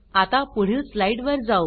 आता पुढील स्लाइड वर जाऊ